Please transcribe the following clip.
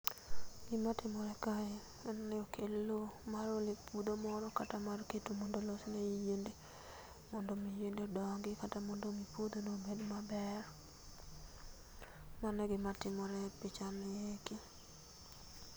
Gima timore kae en ni okel loo mar ole puotho moro kata mar keto mondo olosne yiende modo omi yiende odongi kata mondo omi puodhono obed maber, mano e gima timore e picha ni eki.